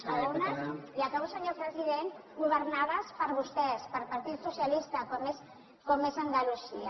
i algunes i acabo senyor president governades per vostès pel partit socialista com és andalusia